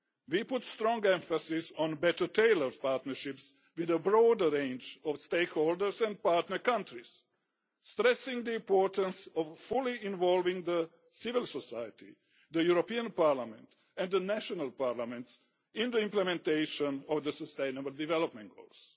We put strong emphasis on better tailored partnerships with a broader range of stakeholders and partner countries, stressing the importance of fully involving civil society, the European Parliament and the national parliaments in the implementation of the sustainable development goals.